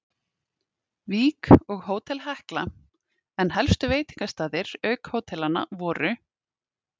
Vík og Hótel Hekla, en helstu veitingastaðir auk hótelanna voru